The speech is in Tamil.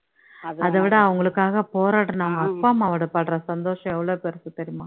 அதை விட அவங்களுக்காக போராடுன அவங்க அப்பா அம்மாவோட படுற சந்தோஷம் எவ்ளோ பெருசு தெரியுமா